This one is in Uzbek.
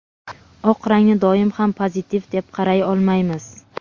oq rangni doim ham pozitiv deb qaray olmaymiz.